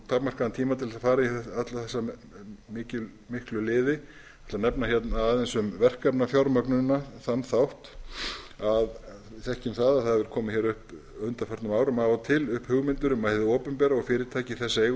þess að fara í alla þessu miklu liði en ætla að nefna hérna aðeins um verkefnafjármögnunina þann þátt við þekkjum það að það hafa komið hér upp á undanförnum árum af og til hugmyndir um að hið opinbera og fyrirtæki í þess eigu